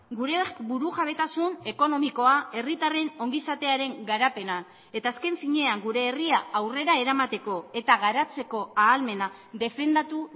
gure burujabetasun ekonomikoa herritarren ongizatearen garapena eta azken finean gure herria aurrera eramateko eta garatzeko ahalmena defendatu